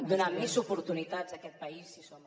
donar més oportunitats a aquest país si som